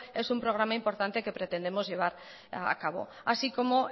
es un programa importante que pretendemos llevar a cabo así como